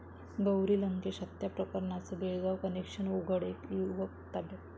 गौरी लंकेश हत्या प्रकरणाचं बेळगाव कनेक्शन उघड, एक युवक ताब्यात